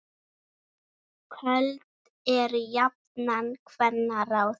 Köld eru jafnan kvenna ráð.